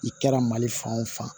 I kɛra mali fan o fan